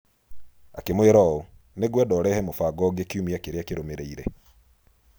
Akĩmwĩra ũũ: "Nĩ ngwenda ũrehe mũbango ũngĩ kiumia kĩrĩa kĩrũmĩrĩire".